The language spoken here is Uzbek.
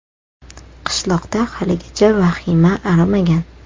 Qishloqda haligacha vahima arimagan.